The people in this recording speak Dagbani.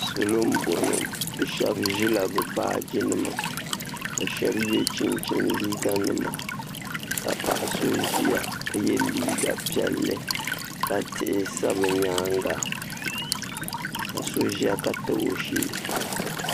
Salo n bɔŋɔ bi shɛba zi labi baaji nima ka shɛba ye chinchini liiga nima ka paɣa so ziya ka ye liiga piɛlli ka tihi sa bi yɛanga ka so ziya ka tabi o shɛɛ.